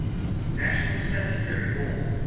national statuary hall